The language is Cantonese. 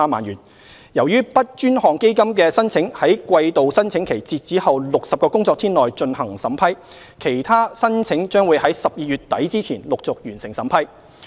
由於 BUD 專項基金的申請在季度申請期截止後60個工作天內進行審批，其他申請將會於12月底之前陸續完成審批。